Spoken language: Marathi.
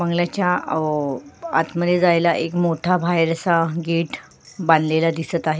बंगल्याच्या आत मध्ये जायला एक मोठा बाहेर असा गेट बांधलेला दिसत आहे.